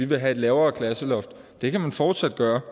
vil have et lavere klasseloft det kan man fortsat gøre